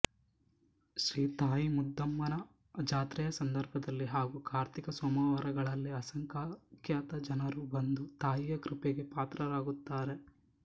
ಶ್ರೀ ತಾಯಿಮುದ್ದಮ್ಮನ ಜಾತ್ರೆಯ ಸಂದರ್ಭದಲ್ಲಿ ಹಾಗೂ ಕಾರ್ತಿಕ ಸೋಮವಾರಗಳಲ್ಲಿ ಅಸಂಖ್ಯಾತ ಜನರು ಬಂದು ತಾಯಿಯ ಕೃಪೆಗೆ ಪಾತ್ರರಾಗುತ್ತಾರೆ